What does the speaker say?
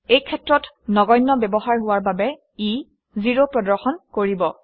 এই ক্ষেত্ৰত ব্যৱহাৰ নধৰ্তব্য হোৱা বাবে ই 0 প্ৰদৰ্শন কৰিব